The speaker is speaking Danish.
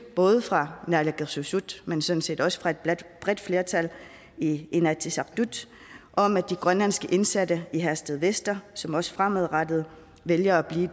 er både fra naalakkersuisut men sådan set også fra et bredt flertal i inatsisartut om at de grønlandske indsatte i herstedvester som også fremadrettet vælger at blive